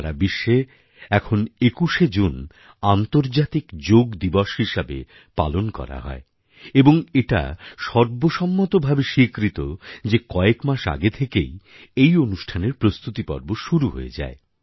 সারা বিশ্বে এখন ২১শে জুন আন্তর্জাতিক যোগ দিবস হিসেবে পালন করা হয় এবং এটা সর্বসম্মতভাবে স্বীকৃত যে কয়েক মাস আগে থেকেই এই অনুষ্ঠানের প্রস্তুতি পর্ব শুরু হয়ে যায়